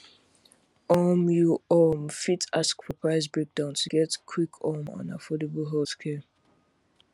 um you um fit ask for price breakdown to get quick um and affordable healthcare